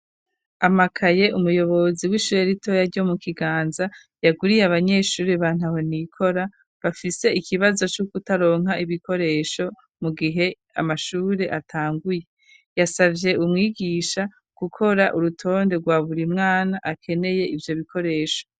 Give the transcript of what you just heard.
Amakaye umuyobozi w'ishure ritoya ryo mu kiganza yaguriye abanyeshuri bantaho nikora bafise ikibazo co kutaronka ibikoresho mu gihe amashuri atanguye yasavye umwigisha gukora urutonde rwa burimwana akeneye ivyo bikoresho.